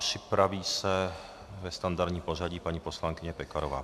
Připraví se ve standardním pořadí paní poslankyně Pekarová.